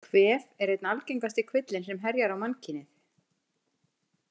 Kvef er einn algengasti kvillinn sem herjar á mannkynið.